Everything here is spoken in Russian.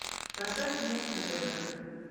поставь мульт на тв